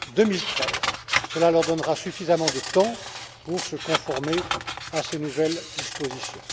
2013. Cela leur donnera suffisamment de temps pour se conformer à ces nouvelles dispositions.